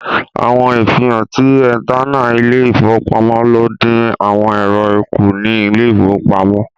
Awọn ifihan tí ètannà ilẹ-ifowopamọ̀ ló n dín àwọn èrò kú ní ilẹ̀ ifowò pamo.